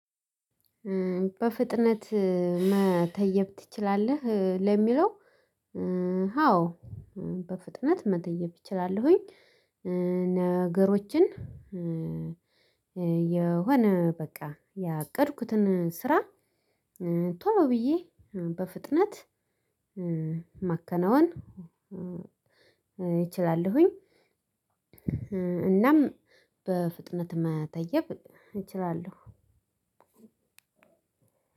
በፍጥነት መተየብ ትችላለህ ለሚለው? አዎ በፍጥነት መተየብ እችላለሁኝ። ነገሮችን። የሆነ በቃ ያቀድኩትን ስራ ቶሎ ብዬ በፍጥነት ማከናወን እችላለሁኝ። እናም በፍጥነት መተየብ እችላለሁ።